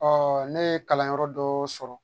ne ye kalanyɔrɔ dɔ sɔrɔ